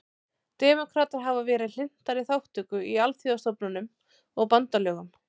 Demókratar hafa verið hlynntari þátttöku í alþjóðastofnunum og bandalögum.